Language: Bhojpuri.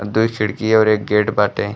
अ दुई खिड़की और एक गेट बाटे।